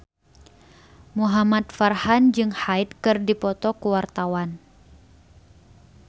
Muhamad Farhan jeung Hyde keur dipoto ku wartawan